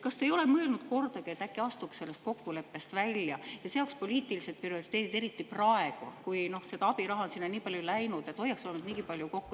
Kas te ei ole kordagi mõelnud, et äkki astuks sellest kokkuleppest välja ja seaks poliitilised prioriteedid nii – eriti praegu, kui seda abiraha on sinna nii palju läinud –, hoiaks vähemalt niigi palju kokku …